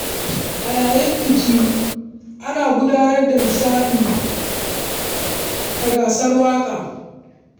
A yayin bikin aure, ana gudanar da nishaɗi da gasar waka.